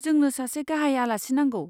जोंनो सासे गाहाय आलासि नांगौ।